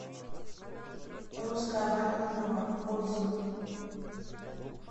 русская баня на дровах отзывы